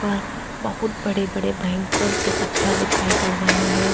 अ बहुत बड़े बड़े भयंकर से पत्थर दिखाई पड़ रहे हैं।